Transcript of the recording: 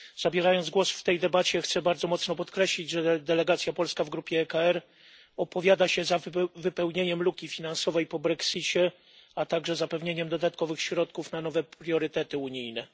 Zabierając głos w tej debacie, chcę bardzo mocno podkreślić, że delegacja polska w grupie ECR opowiada się za wypełnieniem luki finansowej po brexicie, a także zapewnieniem dodatkowych środków na nowe priorytety unijne.